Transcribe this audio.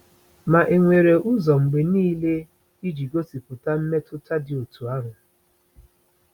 Ma enwere ụzọ mgbe niile iji gosipụta mmetụta dị otú ahụ?